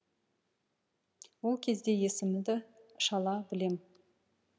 ол кезде есімді шала білем